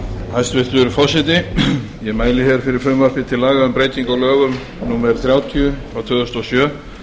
hæstvirtur forseti ég mæli hér fyrir frumvarpi til laga um breytingu á lögum númer þrjátíu tvö þúsund og sjö